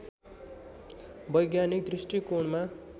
वैज्ञानिक दृष्टिकोणमा